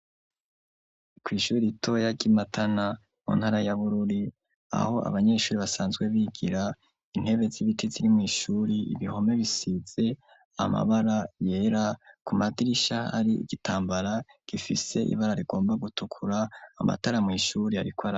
Ku ishuri itoya ryi Matana mu ntara ya Bururi aho abanyeshuri basanzwe bigira intebe z'ibiti ziri mu ishuri ibihome bisize amabara yera ku madirisha ari igitambara gifise ibara rigomba gutukura amatara mu ishuri ariko araka.